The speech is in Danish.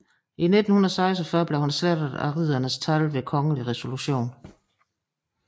I 1946 blev han slettet af riddernes tal ved kongelig resolution